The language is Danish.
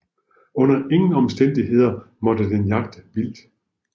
Under ingen omstændigheder måtte den jagte vildt